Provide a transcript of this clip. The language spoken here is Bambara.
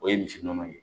O ye misi nɔnɔ ye